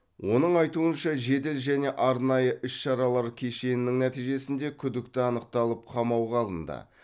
оның айтуынша жедел және арнайы іс шаралар кешенінің нәтижесінде күдікті анықталып қамауға алынды